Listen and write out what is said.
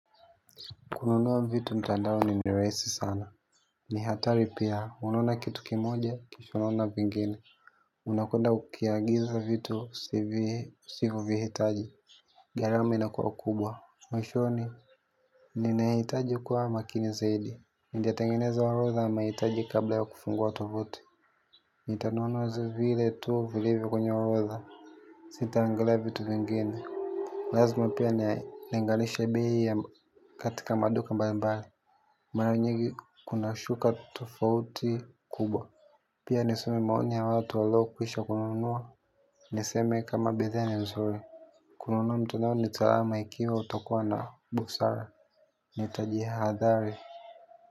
Kununua vitu mtandaoni ni rahisi sana. Ni hatari pia. Unaona kitu kimoja, kisha unaona vingine. Unakwenda kukiagiza vitu usivyo vihitaji. Garama ina kwa kubwa. Mwishoni. Ninaitaji kwa makini zaidi. Ningetengeneza orodha ya maitaji kabla ya kufungua tovuti. Nitanunua vile tu vilivyo kwenye orodha. Sita angala vitu vingine. Lazma pia na nilinganishe bei katika maduka mbali mbali. Mara nyigi kuna shuka tofauti kubwa. Pia nisome maoni ya watu wa loo kwisha kununuwa. Niseme kama bethe ni mzuri. Kununuwa mtandaoni ni salama ikiwa utakuwa na busara. Nitajihadhari.